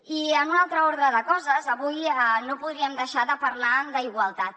i en un altre ordre de coses avui no podríem deixar de parlar d’igualtat